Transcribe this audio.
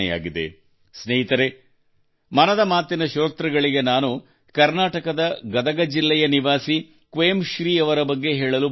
ಸ್ನೇಹಿತರೇ ಮನದ ಮಾತಿ ನ ಶ್ರೋತೃಗಳಿಗೆ ನಾನು ಕರ್ನಾಟಕದ ಗದಗ ಜಿಲ್ಲೆಯ ನಿವಾಸಿ ಕ್ವೇಮ್ ಶ್ರೀ ಅವರ ಬಗ್ಗೆ ಹೇಳಲು ಬಯಸುತ್ತೇನೆ